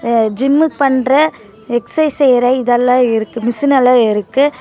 Gym பண்ற exercise செய்ற இதெல்லாம் இருக்கு மெஷின் எல்லாம் இருக்கு.